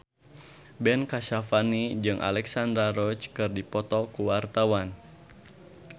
Ben Kasyafani jeung Alexandra Roach keur dipoto ku wartawan